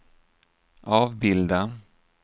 avbilda